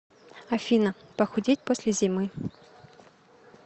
афина похудеть после зимы